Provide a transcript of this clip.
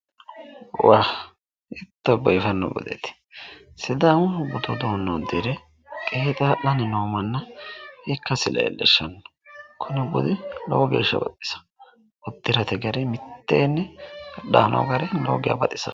Waa! Hiitto biifanno budeeti! Sidaamu budu uduunne uddire qeexaa'lanni noo manna ikkasi leellishshanno. Kuni budi lowo geeshsha baxisanno. Uddirate gari mitteenni daa noo gari lowo geya baxisanno.